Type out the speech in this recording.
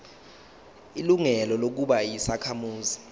ilungelo lokuba yisakhamuzi